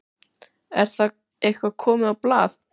Er það eitthvað komið á blað?